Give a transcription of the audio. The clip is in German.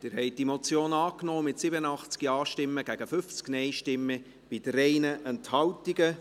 Sie haben diese Motion angenommen, mit 87 Ja- gegen 50 Nein-Stimmen bei 3 Enthaltungen.